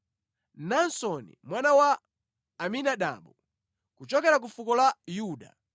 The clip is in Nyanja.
Naasoni mwana wa Aminadabu, kuchokera ku fuko la Yuda,